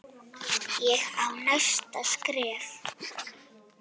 Ég á næsta skref.